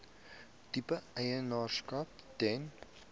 tipe eienaarskap ten